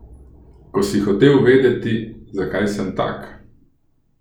Ko si hotel vedeti, zakaj sem tak?